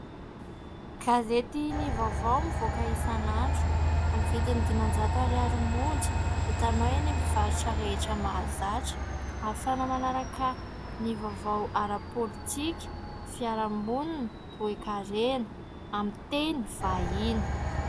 Gazety "Ny vaovao" mivoaka isan'andro amin'ny vidiny dimanjato ariary monja ; hitanao eny amin'ny mpivarotra rehetra mahazatra ; ahafahana manaraka ny vaovao ara-politika, fiarahamonina, toe-karena ; amin'ny teny vahiny.